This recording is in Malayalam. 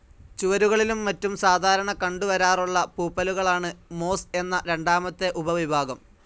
ചുവരുകളിലും മറ്റും സാധാരണ കണ്ടുവരാറുള്ള പൂപ്പലുകളാണ് മോസ്‌ എന്ന രണ്ടാമത്തെ ഉപവിഭാഗം.